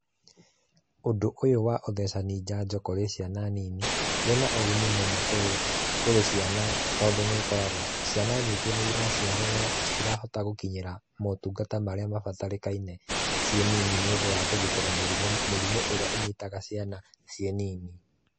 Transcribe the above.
Ũndũ ũyũ wa ũthecani njanjo kũrĩ ciana nini wĩna ũgũni mũno kũrĩ ciana tondũ nĩ ũkoraga ciana nyingĩ nĩ iraciarwo no citirahota gũkĩnyira motungata marĩa mabatarĩkaine ciĩ nini nĩ ũndũ wa kũgitĩra mĩrimũ, mĩrimũ ĩrĩa ĩnyitaga ciana ciĩ nini.